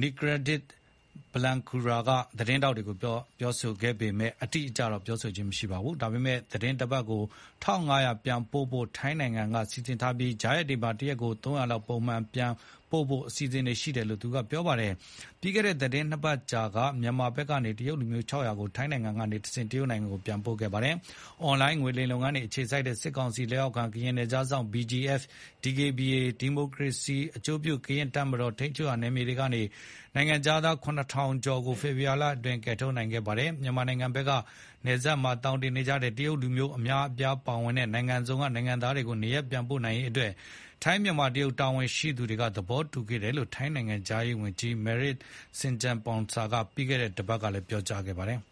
Nikorndej Balankura က သတင်းထောက်တွေကို ပြောပေမဲ့ အတိအကျ မပြောပါဘူး။ ဒါပေမဲ့ သီတင်းတပတ်ကို (၁,၅၀၀) ပြန်ပို့ဖို့ ထိုင်းနိုင်ငံက စီစဉ်ထားပြီး ကြားရက်တွေမှာ တရက်ကို (၃၀၀) လောက် ပုံမှန်ပြန်ပို့ဖို့ အစီအစဉ်ရှိတယ်လို့ သူကပြောပါတယ်။ ပြီးခဲ့တဲ့ သီတင်းနှစ်ပတ်ကြာက မြန်မာဘက်ကနေ တရုတ်လူမျိုး (၆၀၀) ကို ထိုင်းနိုင်ငံကတဆင့် တရုတ်နိုင်ငံကို ပြန်ပို့ခဲ့ပါတယ်။ အွန်လိုင်းငွေလိမ်ဂိုဏ်းတွေအခြေစိုက်တဲ့ စစ်ကောင်စီလက်အောက်ခံ ကရင်နယ်ခြားစောင့်တပ် BGF နဲ့ DKBA ဒီမိုကရေစီအကျိုးပြု ကရင်အမျိုးသား တပ်မတော် ထိန်းချုပ်နယ်မြေတွေကနေ နိုင်ငံခြားသား (၇,၀၀၀) ကျော်ကို ဖေဖေါ်ဝါရီလအတွင်း ကယ်ထုတ်နိုင်ခဲ့တာပါ။ မြန်မာဘက်က နယ်စပ်မှာ သောင်တင်နေကြတဲ့ တရုတ်လူမျိုး အများအပြားပါဝင်တဲ့ နိုင်ငံစုံက နိုင်ငံသားတွေကို နေရပ်ပြန်ပို့နိုင်ရေးအတွက် ထိုင်း၊ မြန်မာ၊ တရုတ် တာဝန်ရှိသူတွေ သဘောတူခဲ့တယ်လို့ ထိုင်းနိုင်ငံခြားရေးဝန်ကြီး Maris Sangiampongsa ကပြီးခဲ့တဲ့ တပတ်က ပြောကြားထားပါတယ်။